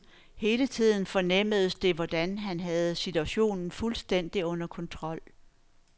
Hele tiden fornemmedes det, hvordan han havde situationen fuldstændigt under kontrol.